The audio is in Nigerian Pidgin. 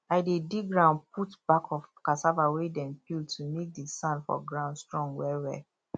i dey dig ground put back of cassava wey dem peel to make the sand for ground strong well well